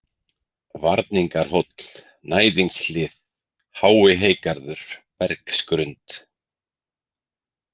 Varningarhóll, Næðingshlið, Háiheygarður, Bergsgrund